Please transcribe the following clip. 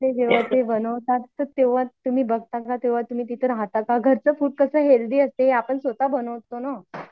ते जेवण जे बनवतात ते तेंव्हा तुम्ही बघता का? तेंव्हा तुम्ही तिथे राहता का? घरचं फूड कसं हेल्थी असते आपण स्वतः बनवतो नं.